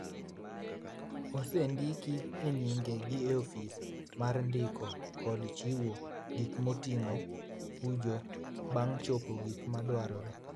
osendiki e nyinge gi Ofis mar Ndiko kod Chiwo Gik Moting’o (Fuju) bang’ chopo gik ma dwarore.